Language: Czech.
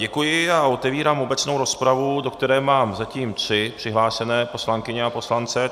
Děkuji a otevírám obecnou rozpravu, do které mám zatím tři přihlášené poslankyně a poslance.